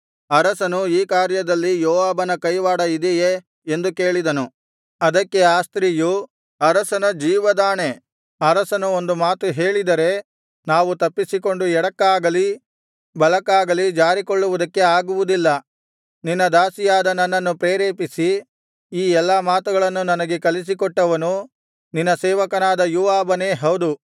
ಅರಸನು ಈ ಕಾರ್ಯದಲ್ಲಿ ಯೋವಾಬನ ಕೈವಾಡ ಇದೆಯೇ ಎಂದು ಕೇಳಿದನು ಅದಕ್ಕೆ ಆ ಸ್ತ್ರೀಯು ಅರಸನ ಜೀವದಾಣೆ ಅರಸನು ಒಂದು ಮಾತು ಹೇಳಿದರೆ ನಾವು ತಪ್ಪಿಸಿಕೊಂಡು ಎಡಕ್ಕಾಗಲಿ ಬಲಕ್ಕಾಗಲಿ ಜಾರಿಕೊಳ್ಳುವುದಕ್ಕೆ ಆಗುವುದಿಲ್ಲ ನಿನ್ನ ದಾಸಿಯಾದ ನನ್ನನ್ನು ಪ್ರೇರೇಪಿಸಿ ಈ ಎಲ್ಲಾ ಮಾತುಗಳನ್ನು ನನಗೆ ಕಲಿಸಿ ಕೊಟ್ಟವನು ನಿನ್ನ ಸೇವಕನಾದ ಯೋವಾಬನೇ ಹೌದು